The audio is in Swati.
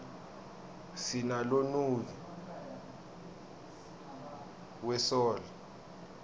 sinalonuyg we soul